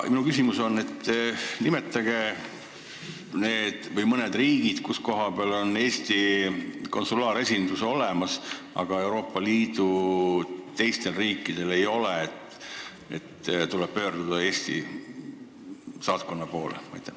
Minu küsimus on see: nimetage mõned riigid, kus on Eesti konsulaaresindus olemas, aga Euroopa Liidu teistel riikidel ei ole, nii et tuleb pöörduda Eesti saatkonna poole?